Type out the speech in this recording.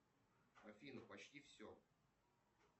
афина почти все